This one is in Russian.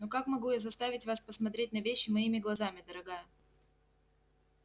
ну как могу я заставить вас посмотреть на вещи моими глазами дорогая